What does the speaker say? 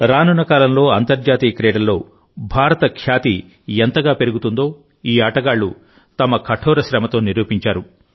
రానున్న కాలంలో అంతర్జాతీయ క్రీడల్లో భారత ఖ్యాతి ఎంతగా పెరుగుతుందో ఈ ఆటగాళ్లు తమ కఠోర శ్రమతో నిరూపించారు